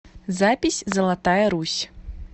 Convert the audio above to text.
запись золотая русь